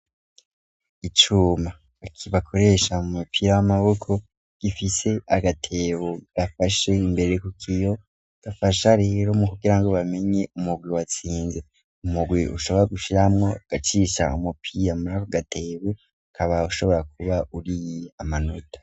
Icuma bagikoresha mu mupira w'amaboko gifise agatebo gafashe imbere kuko iyo dafasha rero mokugirango bamenye umugure watsinze umugure ushobora gushiramwo gacisha umupira murako gatewe kaba ushobora kuba uriye amanota.